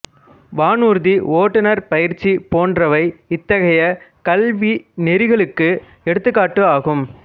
வானூர்தி ஓட்டுனர் பயிற்சி போன்றவை இத்தகைய கல்விநெறிகளுக்கு எடுத்துக்காட்டு ஆகும்